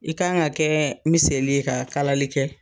I ka kan ka kɛ miseli ye ka kalali kɛ.